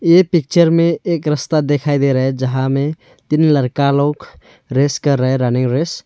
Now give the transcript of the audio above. ये पिक्चर में एक रस्ता दिखाई दे रहा है जहां में तीन लड़का लोग रेस कर रहा है रनिंग रेस ।